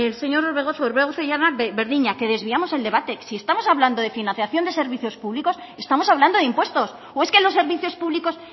orbegozo que desviamos el debate que si estamos hablando de financiación de servicios públicos estamos hablando de impuestos o es que los servicios públicos